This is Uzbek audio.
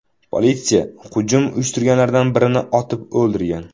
Politsiya hujum uyushtirganlardan birini otib o‘ldirgan .